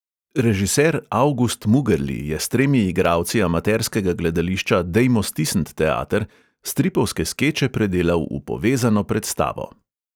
Režiser avgust mugerli je s tremi igralci amaterskega gledališča dejmo stis@nt teater stripovske skeče predelal v povezano predstavo.